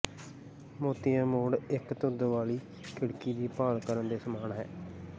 ਮੋਤੀਆ ਮੋੜ ਇੱਕ ਧੁੰਦ ਵਾਲੀ ਖਿੜਕੀ ਦੀ ਭਾਲ ਕਰਣ ਦੇ ਸਮਾਨ ਹੈ